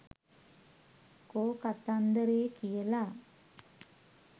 කෝ කතන්දරේ කියලා.